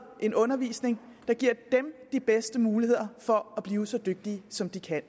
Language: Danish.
en undervisning der giver dem de bedste muligheder for at blive så dygtige som de kan